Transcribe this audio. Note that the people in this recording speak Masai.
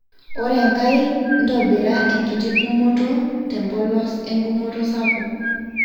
ore enkae ntobira enkiti kumoto te mpolos enkumoto sapuk